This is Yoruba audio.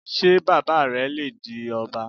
Ṣé bàbá rẹ le di ọba?